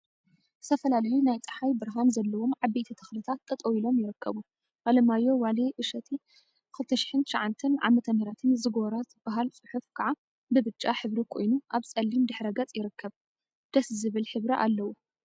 ዝተፈላለዩ ናይ ፀሓይ ብርሃን ዘለዎም ዓበየቲ ተክልታት ጠጠወ ኢሎም ይርከቡ፡፡ አለማየሁ ዋሌ እሸቴ 2009 ዓ/ምን ዝጎራ ዝብል ፅሑፍ ከዓ ብብጫ ሕብሪ ኮይኑ አብ ፀሊም ድሕረ ገፅ ይርከብ፡፡ ደስ ዝብል ሕብሪ አለዎ፡፡